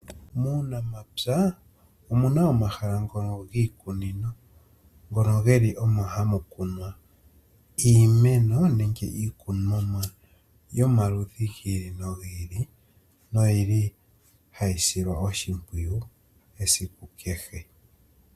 Muunamapya omuna omahala ngono giimeno , ngono geli omo hamu kunwa iimeno nenge iikunomwa yomaludhi giili nogiili noyili hayi silwa oshimpwiyu esiku kehe.